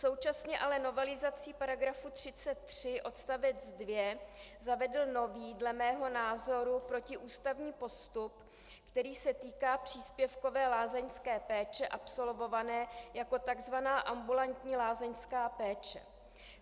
Současně ale novelizací paragrafu 33 odstavec 2 zavedl nový dle mého názoru protiústavní postup, který se týká příspěvkové lázeňské péče absolvované jako tzv. ambulantní lázeňská péče.